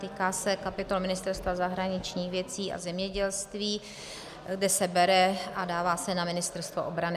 Týká se kapitol ministerstev zahraničních věcí a zemědělství, kde se bere, a dává se na Ministerstvo obrany.